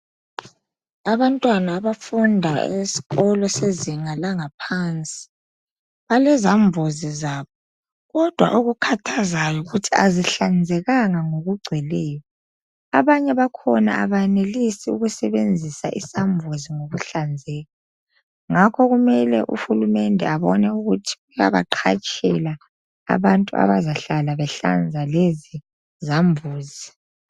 Abantwana abafunda esikolo sezinga langaphansi balezambuzi zabo kodwa okukhathazayo yikuthi akuhlanzekanga ngokugcweleyo. Abanye bakhona abayenelisi ukusebenzisa isambuzi ngokuhlanzeka ngakho kumele uhulumende abone ukuthi uyabaqhatshela abantu abazahlala behlanza lezi zambuzi.